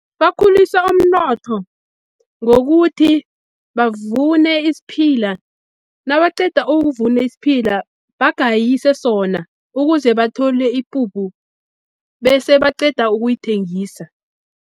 Bakhulisa umnotho ngokuthi bavune isiphila, nabaceda ukuvuna isiphila bagayise sona, ukuze bathole ipuphu bese baceda ukuyithengisa.